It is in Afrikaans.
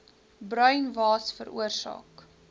bruin waas veroorsaak